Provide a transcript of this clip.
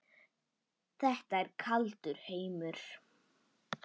Þetta er kaldur heimur.